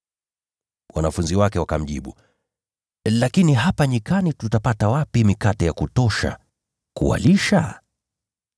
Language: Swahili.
Wanafunzi wake wakamjibu, “Lakini hapa nyikani tutapata wapi mikate ya kutosha kuwalisha?”